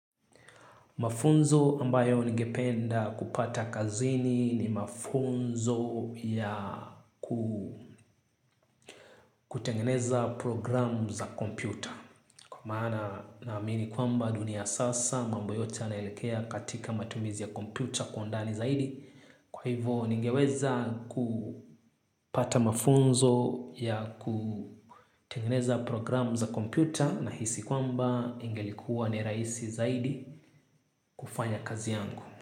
Mafunzo ambayo ningependa kupata kazini ni mafunzo ya kutengeneza program za kompyuta. Kwa maana naamini kwamba dunia ya sasa mambo yote yanaelekea katika matumizi ya kompyuta kwa undani zaidi. Kwa hivo ningeweza kupata mafunzo ya kutengeneza program za kompyuta nahisi kwamba ingelikuwa ni rahisi zaidi kufanya kazi yangu.